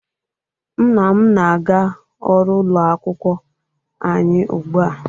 Nna m na-aga ọrụ ụlọ akwụkwọ anyị ugbu a.